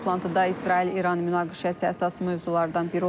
Toplantıda İsrail-İran münaqişəsi əsas mövzulardan biri olacaq.